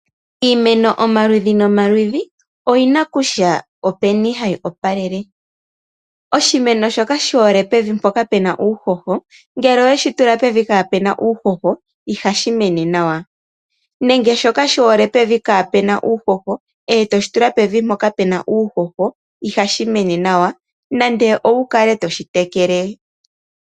Iimeno omaludhi nomaludhi oyi na kutya openi hayi opalele. Oshimeno shoka shi hole pevi mpoka pu na uuhoho ngele oweshi tula pevi kaapu na uuhoho ihashi mene nawa, nenge shoka shi hole pevi kaapu na uuhoho e toshi tula pevi mpoka pu na uuhoho ihashi mene nawa nande owu kale toshi tekele.